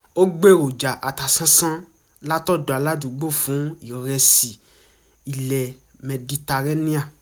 ó gbèròjà atasánsán látọ̀dò aládùúgbò fún ìrẹsì ilẹ̀ mẹditaréníà